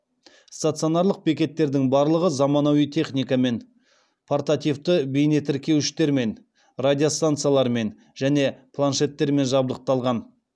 стационарлық бекеттердің барлығы заманауи техникамен портативті бейнетіркеуіштермен радиостанциялармен және планшеттермен жабдықталған